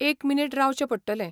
एक मिनीट रावचें पडटलें.